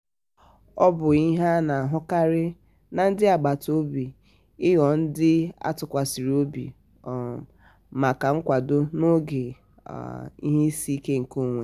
ọ bụ ihe a na-ahụkarị na ndị agbata obi i ghọọ ndi a tụkwasịrị obi um maka nkwado n'oge um ihe isi ike nke onwe.